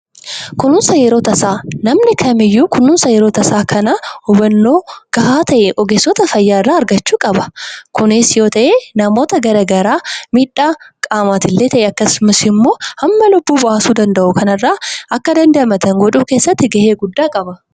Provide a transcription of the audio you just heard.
Kunuunsa yeroo tasaa: Namni kamiiyyuu kunuunsa yeroo tasaa kana hubannoo gahaa ta'e ogeessota fayyaa irraa argachuu qaba. Kunis yoo ta'e namoota gara garaa miidhaa qaamaatis illee ta'e akkasumas immoo hamma lubbuu baasuu danda'u kanarraa akka damdamatan gochuu keessatti gahee guddaa qaba.